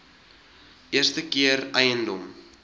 eerste keer eiendom